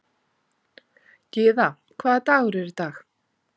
Gyða, hvaða dagur er í dag?